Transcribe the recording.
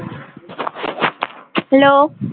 Hello